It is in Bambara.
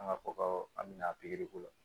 An ka fɔ ka an bɛna pikiri ko la